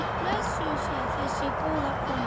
Blessuð sé þessi góða kona.